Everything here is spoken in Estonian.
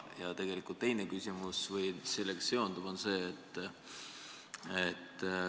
Ja teine, sellega seonduv küsimus on selline.